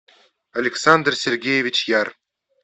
александр сергеевич яр